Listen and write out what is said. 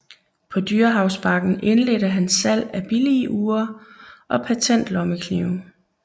På Dyrehavsbakken indledte han salg af billige ure og patentlommeknive